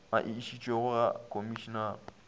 a e išitšego ga komišinare